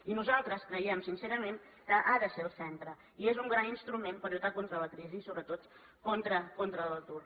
i nosaltres creiem sincerament que ha de ser el centre i és un gran instrument per lluitar contra la crisi i sobretot contra l’atur